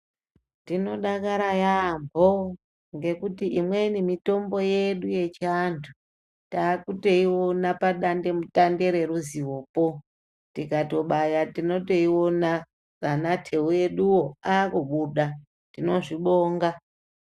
Tinodakara yaamho ngekuti imweni mitombo yedu yechiantu taakutoiona padandemutande reruzivopo. Tikatobaya tinotoiona, naanatewu eduwo aakubuda . Tinozvibonga.